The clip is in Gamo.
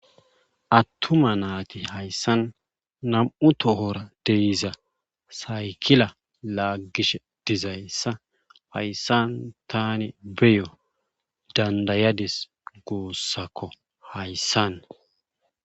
Attuma naati hayssan nam7u tohora deiza saykila laaggish dizayssa hayssan tani beyo dandayadis goossakko hayssan